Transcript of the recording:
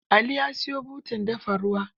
Ali ya siyo butar dafa ruwa.